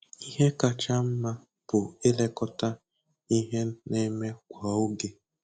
Ihe kacha mma bụ ilekọta ihe na-eme kwa oge.